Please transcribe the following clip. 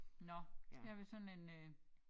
Nåh her har vi sådan en øh